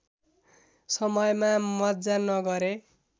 समयमा मज्जा नगरे